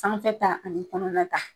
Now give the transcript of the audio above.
Sanfɛ ta ani kɔnɔna ta